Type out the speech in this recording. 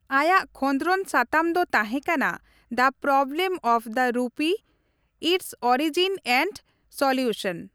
ᱟᱭᱟᱜ ᱠᱷᱚᱫᱽᱨᱚᱱ ᱥᱟᱛᱟᱢ ᱫᱚ ᱛᱟᱦᱮᱸᱠᱟᱱᱟ, the problem of the rupee its origin and solution.